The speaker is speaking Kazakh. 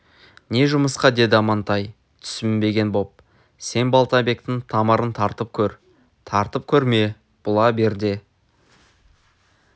не жұмысқа деді амантай түсінбеген боп сен балтабектің тамырын тартып көр тартып көрме бұла бер де